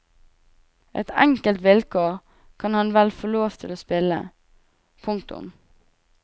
Ett enkelt vilkår kan han vel få lov til å stille. punktum